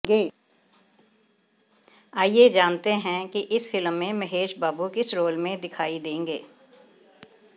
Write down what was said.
आइए जानते हैं कि इस फिल्म में महेश बाबू किस रोल में दिखाई देंगे